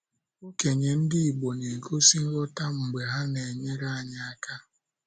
Okenye ndị igbo na - egosi nghọta mgbe ha na - enyere anyị aka.